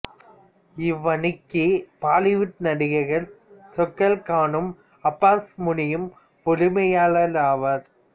இவ்வணிக்கு பாலிவுட் நடிகர்கள் சொகைல் கானும் அப்பாஸ் முனியும் உரிமையாளராவார்